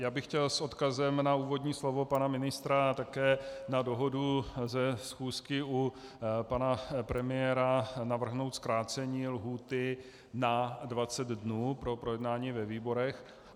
Já bych chtěl s odkazem na úvodní slovo pana ministra a také na dohodu ze schůzky u pana premiéra navrhnout zkrácení lhůty na 20 dnů pro projednání ve výborech.